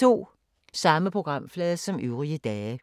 Samme programflade som øvrige dage